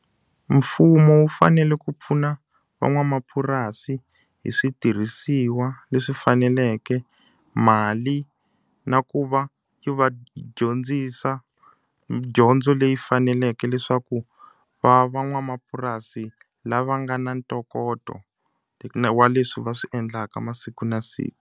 Mfumo wu fanele ku pfuna van'wamapurasi hi switirhisiwa leswi faneleke, mali, na ku va yi va dyondzisa dyondzo leyi faneleke leswaku va va van'wamapurasi lava nga na ntokoto wa leswi va swi endlaka masiku na siku.